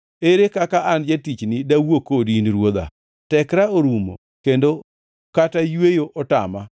Ere kaka an, jatichni, dawuo kodi, in, ruodha? Tekra orumo kendo kata yweyo otama.”